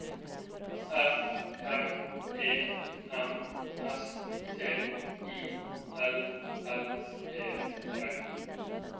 F R E M S T I L L E R